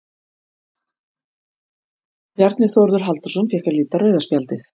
Bjarni Þórður Halldórsson fékk að líta rauða spjaldið.